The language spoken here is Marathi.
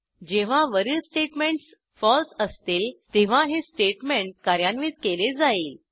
जेव्हा वरील स्टेटमेंटस फळसे असतील तेव्हा हे स्टेटमेंट कार्यान्वित केले जाईल